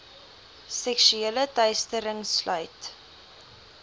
seksuele teistering sluit